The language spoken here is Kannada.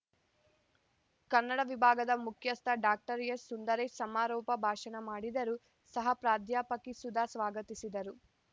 ಕನ್ನಡವಿಭಾಗದ ಮುಖ್ಯಸ್ಥ ಡಾಕ್ಟರ್ ಎಸ್‌ಸುಂದರೇಶ್‌ ಸಮಾರೋಪ ಭಾಷಣ ಮಾಡಿದರು ಸಹ ಪ್ರಾಧ್ಯಾಪಕಿ ಸುಧಾ ಸ್ವಾಗತಿಸಿದರು